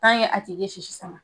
a tigi ye sisi sama